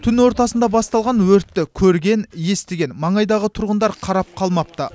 түн ортасында басталған өртті көрген естіген маңайдағы тұрғындар қарап қалмапты